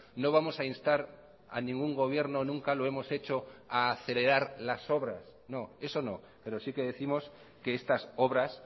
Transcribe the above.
no vamos a instar a ningún gobierno nunca lo hemos hecho a acelerar las obras no eso no pero sí que décimos que estas obras